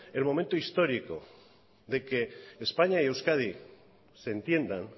el momento histórico de que españa y euskadi se entiendan